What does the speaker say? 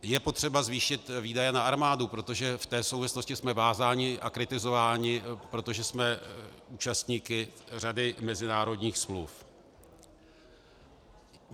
Je potřeba zvýšit výdaje na armádu, protože v té souvislosti jsme vázáni a kritizováni, protože jsme účastníky řady mezinárodních smluv.